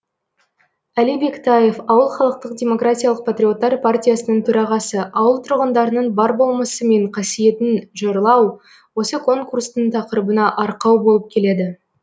әли бектаев ауыл халықтық демократиялық патриоттар партиясының төрағасы ауыл тұрғындарының бар болмысы мен қасиетін жырлау осы конкурстың тақырыбына арқау болып келеді